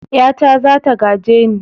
Ƴata za ta gaje ni.